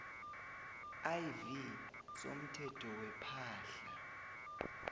iv somthetho wepahla